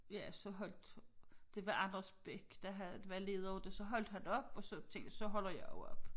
Ja så holdt det var Anders Bech der havde der var leder af det så holdt han op og så tænkte jeg så holder jeg også op